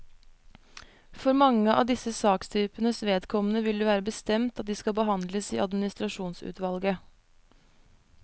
For mange av disse sakstypenes vedkommende vil det være bestemt at de skal behandles i administrasjonsutvalget.